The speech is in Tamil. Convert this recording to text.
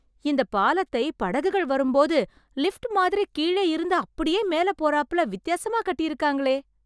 இந்த பாலத்தை, படகுகள் வரும்போது, லிஃப்ட் மாதிரி கீழயிருந்து அப்டியே மேல போறாப்பல, வித்யாசமா கட்டியிருக்காங்களே..!